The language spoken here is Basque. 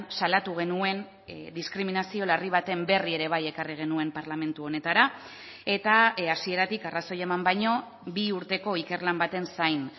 salatu genuen diskriminazio larri baten berri ere bai ekarri genuen parlamentu honetara eta hasieratik arrazoi eman baino bi urteko ikerlan baten zain